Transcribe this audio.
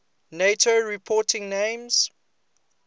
nato reporting names